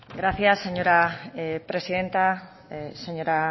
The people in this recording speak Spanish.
gracias señora presidenta señora